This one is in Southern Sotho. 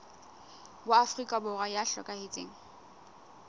wa afrika borwa ya hlokahetseng